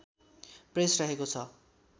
press रहेको छ